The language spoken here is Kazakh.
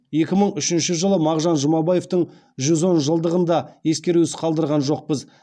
екі мың үшінші жылы мағжан жұмабаевтың жүз он жылдығын да ескерусіз қалдырған жоқпыз